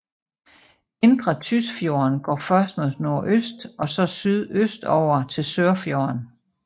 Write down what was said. Indre Tysfjorden går først mod nordøst og så sydøstover til Sørfjorden